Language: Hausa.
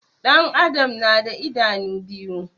Ɗan adam na da idanu biyu